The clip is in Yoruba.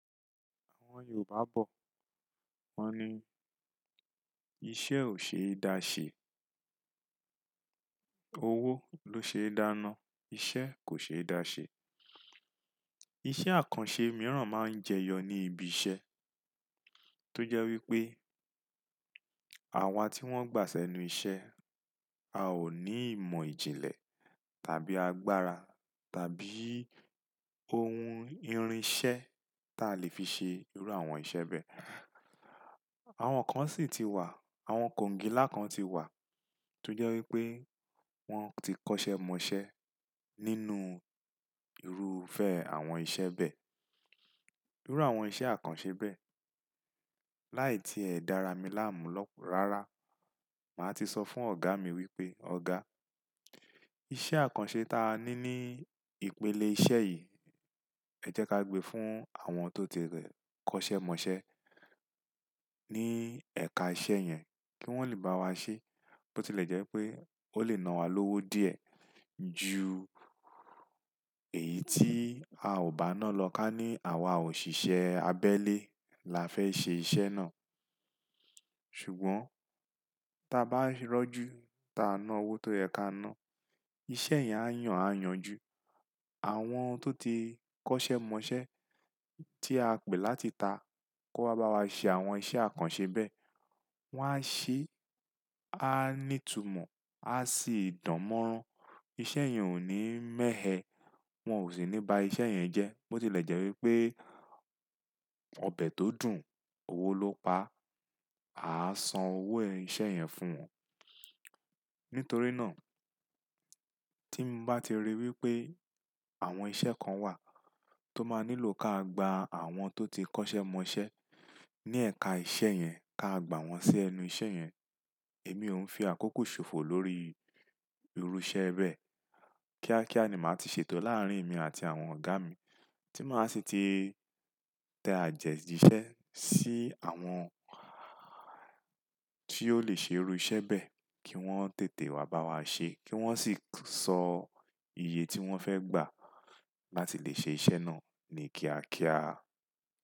Àwọn Yorùbá bọ̀ wọ́n ni Iṣẹ́ ò ṣe é da ṣe, owó ló ṣe é dáná, iṣẹ́ kò ṣe da ṣe." Iṣẹ́ àkànṣe mìíràn máa ń jẹyọ ní ibi iṣẹ́, tó jẹ́ wípé àwa tí wón gbà sẹ́nu iṣẹ́, a ò ní ìmọ̀ ìjìnlẹ̀ tàbí agbára tàbí ohun irinṣẹ́ tí a lè fi ṣe irú àwọn iṣẹ́ bẹ́ẹ̀. Àwọn kan sì ti wà, àwọn kòǹgílá kan tiwà, tó jẹ́ wípé wón ti kọ́ṣẹ́ mọṣẹ́ nínú irúfẹ́ àwọn iṣẹ́ bẹ́ẹ̀, irú àwọn iṣẹ́ àkànṣe bẹ́ẹ̀. Láì tí ẹ dára mi láàmú lọ́ rara, màá ti sọ fún ọ̀gá mi wípé, "Ọ̀gá, iṣẹ́ àkànṣe ta ní ní ìpele iṣẹ́ yìí, ẹjẹ́ ká gbe fún àwọn tó ti rẹ̀ kọ́ṣẹ́ mọṣẹ́ ní ẹ̀ka iṣẹ́ yẹn kí wón lè bá wa ṣe. Bó tilẹ̀ jẹ́ pé ó lè nawá lówó díẹ̀ ju èyí tí a ò bá nálọ ká ní àwa òṣìṣẹ́ abẹ́lé la fẹ́ ṣe iṣẹ́ náà." Ṣùgbọ́n tá bá rọ́jú ta ná owó tó yẹ ka ná, iṣẹ́ yẹn á yàn á yanju. Àwọn tó ti kọ́ṣẹ́ mọṣẹ́ tí a pè láti ta kó wá bá wa ṣe àwọn iṣẹ́ àkànṣe bẹ́ẹ̀, wọ́n á ṣe, á ní ìtumọ̀, á sì dánmọ́rán. Iṣẹ́ yẹn òní mẹ̀ ẹ, wọ́n ò sì ní ba iṣẹ́ yẹn jẹ́. Bó tilẹ̀ jẹ́ wípé ọbẹ̀ tó dùn, owó ló pa, aá san owó iṣẹ́ yẹn fún wọn. Nítorí náà tí bá ti rí wípé àwọn iṣẹ́ kan wà tó máa nílò ká gba àwọn tó ti kọ́ṣẹ́ mọṣẹ́ ní ẹ̀ka iṣẹ́ yẹn ká gba wọn sí ẹnu iṣẹ́yẹn, èmi ò ń fi àkókò ṣòfò lórí irú iṣẹ́ bẹ́ẹ̀. Kíá kíá ni màá ti ṣètò láàárín èmi àti àwọn ọ̀gá mi tí màá ṣi ti tẹ àtẹjíṣẹ́ sí àwọn tí ò lè ṣe irú iṣẹ́ bẹ́ẹ̀ kí wọ́n tètè wá bá wa ṣe, kí wọ́n sì sọ iye tí wọ́n fẹ́ gbà láti lè ṣe iṣẹ́ náà ní kíá kíá.